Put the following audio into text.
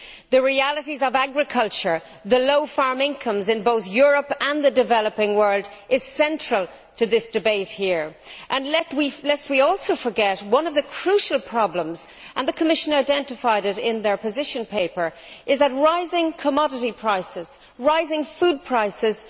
The realities of agriculture and the low farm incomes in both Europe and the developing world are central to this debate and, lest we also forget, one of the crucial problems and the Commission identified it in its position paper is that rising commodity prices and rising food prices